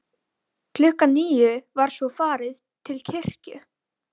Eva, er opið í Hagkaup?